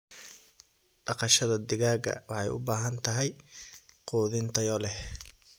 Dhaqashada digaaga waxay u baahan tahay quudin tayo leh.